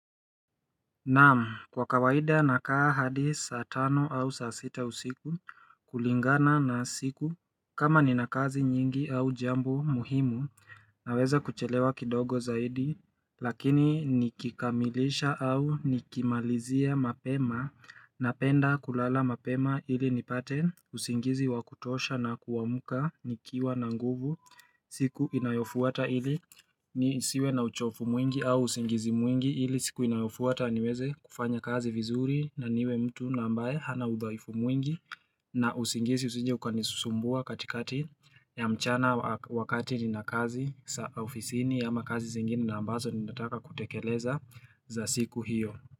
Naam, kwa kawaida nakaa hadi saa tano au saa sita usiku kulingana na siku kama ni nakazi nyingi au jambo muhimu naweza kuchelewa kidogo zaidi lakini nikikamilisha au nikimalizia mapema napenda kulala mapema ili nipate usingizi wa kutosha na kuamka nikiwa na nguvu siku inayofuata ili nisiwe na uchofu mwingi au usingizi mwingi ili siku inayofuata niweze kufanya kazi vizuri na niwe mtu na ambaye hana udhaifu mwingi na usingizi usije ukanisusumbua katikati ya mchana wakati ni na kazi ofisini ama kazi zingine na ambazo ni nataka kutekeleza za siku hiyo.